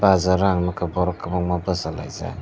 bazar o ang nukha borok kwbangma bachalaijak.